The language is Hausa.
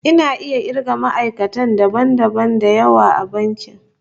Ina iya kirga ma'aikata dabam dabam da yawa a bankin